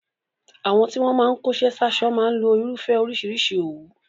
Àwọn tí wọ́n máa ń kóṣẹ́ sáṣọ máa ń lo irúfẹ́ oríṣìíríṣìí òwú.